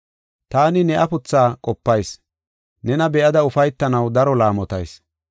Taani ne afuthaa qopayis; nena be7ada ufaytanaw daro laamotayis.